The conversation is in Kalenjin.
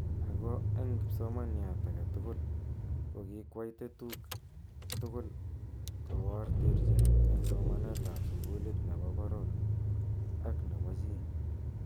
Ako eng kipsomaniat ake tugul ko ki kwai tetuk tugul ko bor terchinet eng somanet ab sukulit nebo boror ak ne po chii.